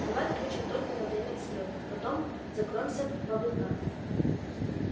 давай включим только на время взлёта потом закроемся в облака